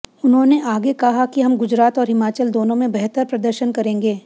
उन्होंने आगे कहा कि हम गुजरात और हिमाचल दोनों में बेहतर प्रदर्शन करेगें